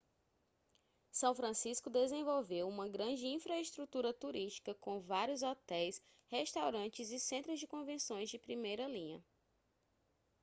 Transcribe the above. são francisco desenvolveu uma grande infraestrutura turística com vários hotéis restaurantes e centros de convenção de primeira linha